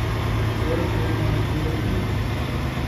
Kolsetab ketik